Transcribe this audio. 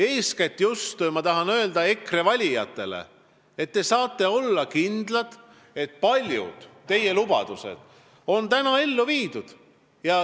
Eeskätt tahan ma just EKRE valijatele öelda, et te saate olla kindlad selles, et paljud teie lubadused on ellu viidud.